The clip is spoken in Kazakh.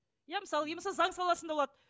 иә мысалы иә мысалы заң саласында болады